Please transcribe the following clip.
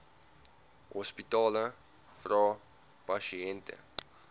hospitale vra pasiënte